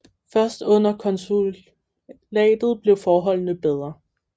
Først under konsulatet blev forholdene bedre